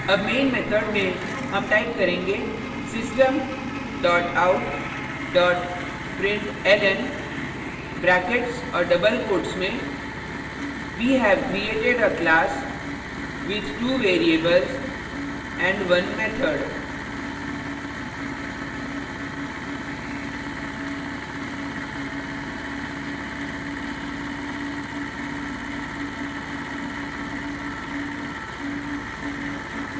double main method में हम type करेंगे system dot out dot println brackets और double quotes में we have created a class with two variables and 1 method